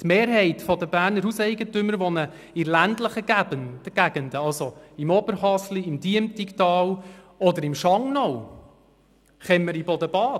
Die Mehrheit der Berner Hauseigentümer wohnt in ländlichen Gegenden, also beispielsweise im Oberhasli, im Diemtigtal oder in Schangnau im Kemmeriboden-Bad.